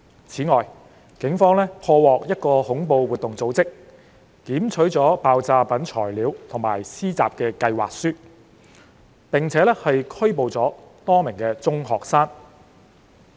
此外，警方破獲一個恐怖活動組織，檢取了爆炸品原材料及施襲計劃書，並拘捕了多名中學生。